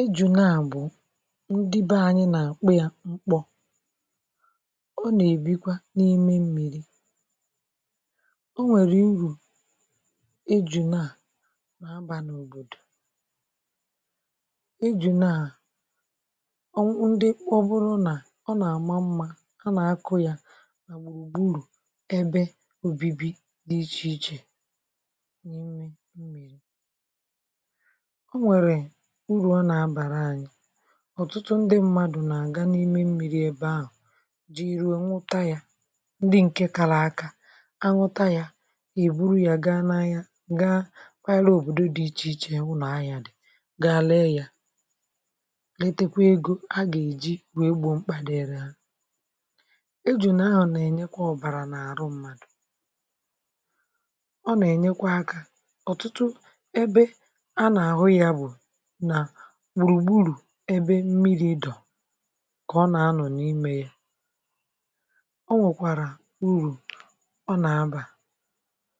Eju̇ naà bụ̀ ndị be anyị nà-àkpụ yà mkpọ. Ọ nà-èbikwa n’ime mmìri̇; o nwèrè irù eju̇ naà nà-abà n’òbòdò. um Eju̇ naà, ndị ọ bụrụ nà ọ nà-àma mmȧ, hà nà-akụ̇ yà màgbà ụ̀gbụrụ̀, ebe òbibi dị̇ ichè ichè n’ime mmìri̇.Ọ̀tụtụ ndị̇ mmadù nà-àga n’ime mmiri̇ ebe ahụ̀, jìrìò nwuta yȧ, ndị ǹkè kàlà aka anwụta yȧ, èburu yȧ gaa n’anya, gaa kwa àlà òbòdò dị ichè ichè, wụ̀ nà anyà dị̀, gaa lee yȧ, um etekwa egȯ a gà-èji wèe gbo mkpà dịịrị hà.E jù nìrọ̀ nà ẹ̀nyẹkwa ọ̀bàrà n’àrụ̇ mmadù, ọ nà ẹ̀nyẹkwa akȧ. Ọ̀tụtụ ebe a nà-àhụ yȧ bụ̀ ebe mmiri̇ dọ̀, kà ọ nà-ànọ̀ n’imė yà. O nwèkwàrà urù, ọ nà-abà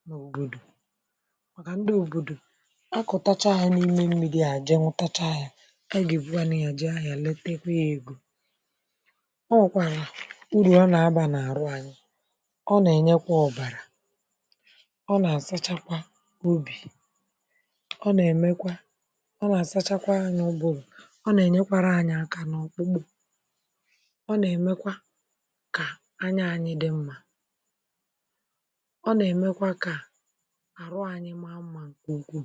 n’òbòdò, um màkà ndị òbòdò akọ̀tacha hà n’ime mmiri̇ àjị mụ̇, tacha yȧ, è gà-èbughanì àjị ahụ̀ à, letekwe yȧ egwu̇.O nwèkwàrà urù, ọ nà-abà nà àrụ̇ anyị̇; ọ nà-ènyekwa ọ̀bàrà, ọ nà-àsachakwa ubì, ọ nà-ènyekwȧrȧ anyị̇ aka n’ọ̀kpụkpụ̀, ọ nà-èmekwa kà ànyà anyị̇ dị mmȧ. Ọ nà-èmekwa kà àrụ̇ anyị̇ maa mmȧ, kà òkwù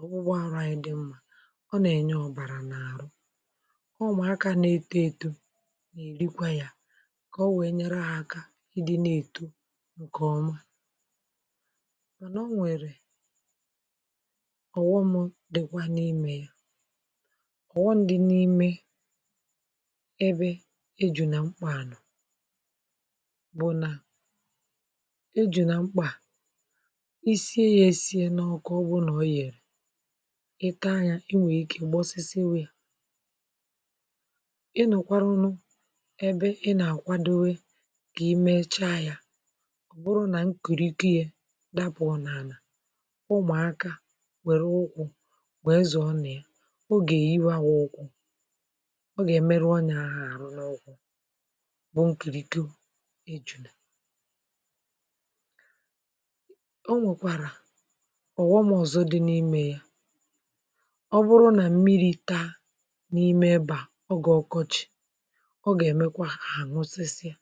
ọ̀wụ̀gwọ àrụ̇ anyị̇ dị mmȧ. Ọ nà-ènye ọ̀bàrà n’àrụ̇, ọ mà akà na-èto etȯ, nà-èrikwa yȧ, um kà o wèe nyere hà aka ịdị na-èto ǹkèọma. Mànà o nwèrè ọ̀ghọm. Ọ̀wọndị n’ime ebe e jù nà mkpà bụ̀ nà e jù nà mkpà isie yà. Esie nọọ̀, kà ọ bụ nà ọ yèrè ita yȧ, enwèghị̀ ikė gbọsịsị nwe yȧ. Ị nọ̀kwarụ nụ, um ebe i nà-àkwadowe, kà i mecha yȧ; ọ̀ bụrụ nà nkìrì iké yȧ dapụ̀, ọ̀ n’ànà, um ụmụ̀aka nwèrè ụkwụ̀, ọ gà-èmerụ ọnyà ahụ̀ n’ọkwụ̀, bụ̀ nkìrì go ẹjùnù.A o nwèkwàrà ọ̀ghọm ọ̀zọ dị n’imė yà. Ọ bụrụ nà mmịrị̇ taa n’ime ịbà, ọ gà-ọkọchị̀, ọ gà-èmekwa àṅụsịsịa.